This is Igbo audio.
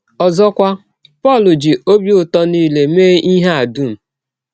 Ọzọkwa, Pọl ji “ ọbi ụtọ nile ” mee ihe a dụm.